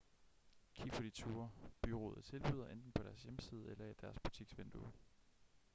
kig på de ture bureauet tilbyder enten på deres hjemmeside eller i deres butiksvindue